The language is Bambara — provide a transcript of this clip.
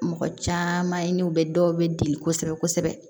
Mɔgɔ caman ye n'u bɛ dɔw bɛ deli kosɛbɛ kosɛbɛ